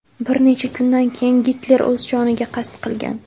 Bir necha kundan keyin Gitler o‘z joniga qasd qilgan.